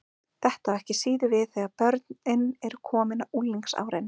Þetta á ekki síður við þegar börnin eru komin á unglingsárin.